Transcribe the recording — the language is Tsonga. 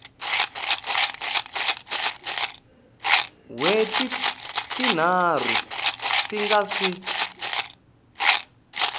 wheti tinharhu ku nga si